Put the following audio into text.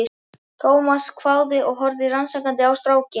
Thomas hváði og horfði rannsakandi á strákinn.